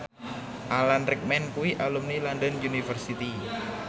Alan Rickman kuwi alumni London University